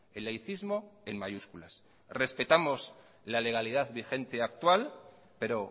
el laicismo en mayúsculas respetamos la legalidad vigente actual pero